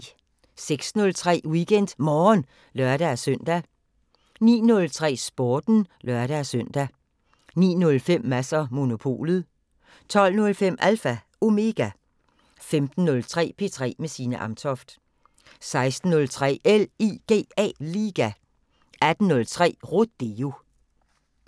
06:03: WeekendMorgen (lør-søn) 09:03: Sporten (lør-søn) 09:05: Mads & Monopolet 12:05: Alpha Omega 15:03: P3 med Signe Amtoft 16:03: LIGA 18:03: Rodeo